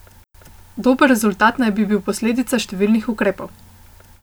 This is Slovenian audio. Dober rezultat naj bi bil posledica številnih ukrepov.